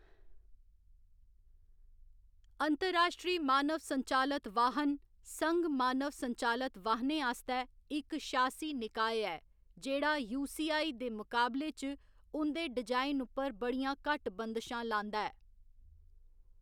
अंतर्राश्ट्री मानव संचालत वाह्‌‌न संघ मानव संचालत वाहनें आस्तै इक शासी निकाय ऐ जेह्‌‌ड़ा यूसीआई दे मकाबले च उं'दे डिजाइन उप्पर बड़ियां घट्ट बंदशां लांदा ऐ।